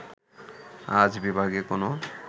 আজ বিভাগে কোন